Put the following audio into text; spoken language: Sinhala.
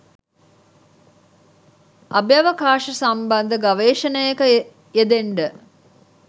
අභ්‍යවකාශ සම්බන්ධ ගවේෂණයක යෙදෙන්ඩ.